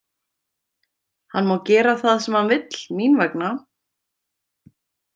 Hann má gera það sem hann vill mín vegna.